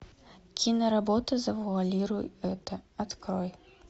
киноработа завуалируй это открой